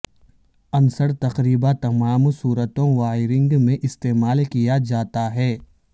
عنصر تقریبا تمام صورتوں وائرنگ میں استعمال کیا جاتا ہے